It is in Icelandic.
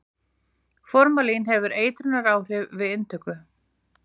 Formalín hefur eitrunaráhrif við inntöku.